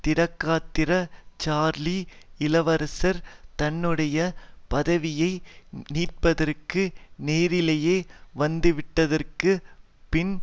திடகாத்திர Charlie இளவரசர் தன்னுடைய பதவியை மீட்பதற்கு நேரிலேயே வந்துவிட்டதற்கு பின்